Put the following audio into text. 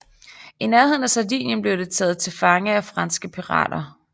I nærheden af Sardien blev det taget til fange af franske pirater